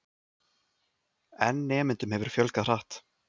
En nemendum hefur fjölgað hratt.